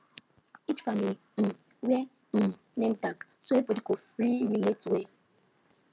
each family um wear um name tag so everybody go free relate well